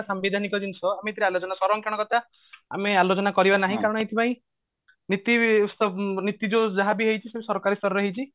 ସାମ୍ବିଧାନିକ ଜିନିଷ କଥା ସରଂକ୍ଷଣ ଆମେ ଆଲୋଚନା କରିବା ନାହିଁ କାରଣ ଏଇଥି ପାଇଁ ନୀତି ସ ନୀତି ଯୋଉ ଯାହାବି ହେଇଛି ସବୁ ସରକରୀ ସ୍ତରରେ ହେଇଛି